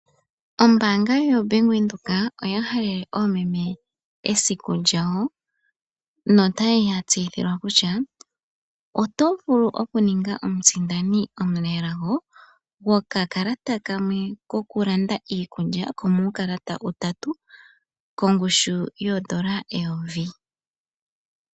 Ombaanga yoBank Windhoek oya halele oomeme esiku lyawo , notaya tseyithilwa kutya oto vulu okuninga omusindani omunelago gwokakalata kamwe kokulanda iikulya komuulalata utatu, kongushu yoondola eyovi.